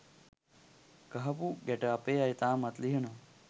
ගහපු ගැට අපේ අය තාමත් ලිහනවා